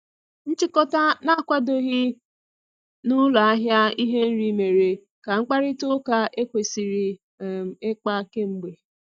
Nchikota na-akwadoghị na ụlọ ahịa ihe nri mere ka mkparịta ụka ekwesiri um ikpa k'emgbe.